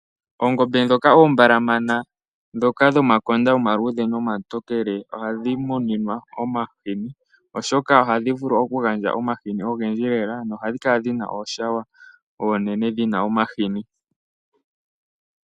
Oongombe ndhoka oombalamana, ndhoka dhomakonda omaluudhe nomatokele ohadhi muninwa omahini oshoka ohadhi vulu okugandja omahini ogendji lela nohadhi kala dhina na ooshawo oonene dhi na omahini.